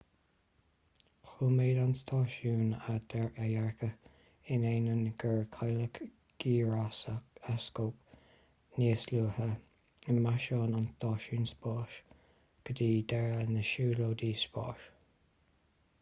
choimeád an stáisiún a dhearcadh in ainneoin gur cailleadh gíreascóp níos luaithe i misean an stáisiúin spáis go dtí deireadh na siúlóide spáis